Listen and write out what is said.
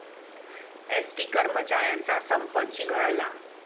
ST कर्मचाऱ्यांचा संप चिघळला